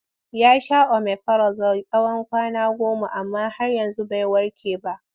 Ya sha omifirazol tsawon kwana goma amma har yanzu bai warke ba.